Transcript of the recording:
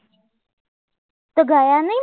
તો ગયા નઈ